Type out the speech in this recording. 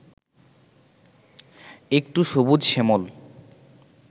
একটু সবুজ-শ্যামল